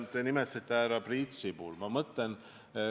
Te nimetasite härra Priit Sibulat.